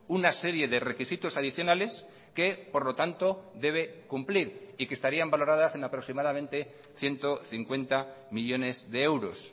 una serie de requisitos adicionales que por lo tanto debe cumplir y que estarían valoradas en aproximadamente ciento cincuenta millónes de euros